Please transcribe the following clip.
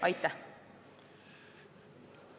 Aitäh!